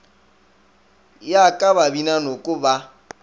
ya ka babina noko ba